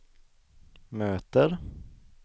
möter